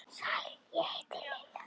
Sæl, ég heiti Lilla